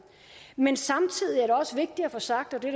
men samtidig er det også vigtigt at få sagt og det